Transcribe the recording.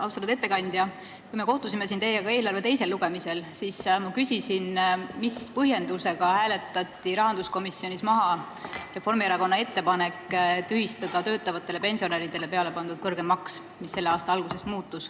Austatud ettekandja, kui me kohtusime siin teiega eelarve teisel lugemisel, siis ma küsisin, mis põhjendusega hääletati rahanduskomisjonis maha Reformierakonna ettepanek tühistada töötavatele pensionäridele peale pandud kõrgem maks, mis hakkas kehtima selle aasta alguses.